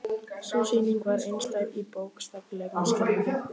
Sú sýning var einstæð í bókstaflegum skilningi.